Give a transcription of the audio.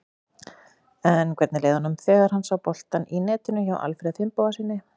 En hvernig leið honum þegar hann sá boltann í netinu hjá Alfreð Finnbogasyni?